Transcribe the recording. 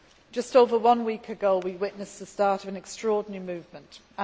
Just over one week ago we witnessed the start of an extraordinary movement there.